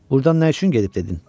Burdan nə üçün gedib dedin?